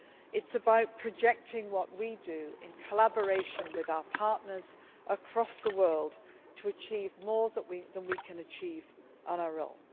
It is about projecting what we do in collaboration with our partners across the world to achieve more than we can achieve on our own.